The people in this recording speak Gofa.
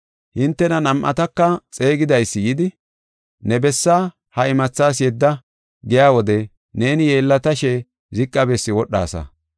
Hintena nam7ataka xeegidaysi yidi, ‘Ne bessa ha imathas yedda’ giya wode neeni yeellatashe ziqa bessi wodhaasa.